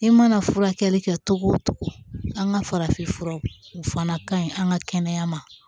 I mana furakɛli kɛ cogo o cogo an ka farafinfuraw o fana kaɲi an ka kɛnɛya ma